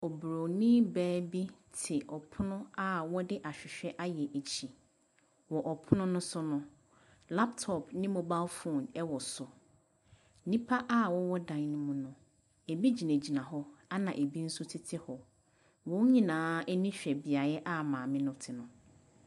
Oburoni baa bi te ɔpono a wɔde ahwehwɛ ayɛ akyi. Wɔ ɔpono no so no, laptop ne mobile phone wɔ so. Nnipa a wɔwɔ dan no mu no, ebi gyinagyina hɔ, ɛnna ebi nso tete hɔ. Wɔn nyinaa ani hwɛ beaeɛ a maame no te no.